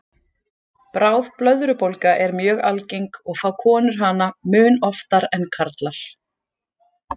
Bráð blöðrubólga er mjög algeng og fá konur hana mun oftar en karlar.